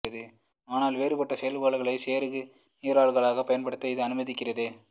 ஆனால் வேறுபட்ட செயல்பாடுகளை செருகு நிரல்களாக பயன்படுத்த இது அனுமதிக்கிறது